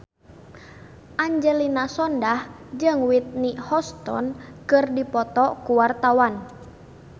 Angelina Sondakh jeung Whitney Houston keur dipoto ku wartawan